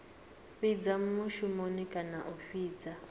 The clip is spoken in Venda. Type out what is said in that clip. fhidza mushumoni kana a fhidza